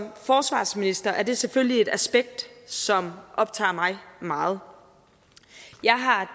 forsvarsminister er det selvfølgelig et aspekt som optager mig meget jeg har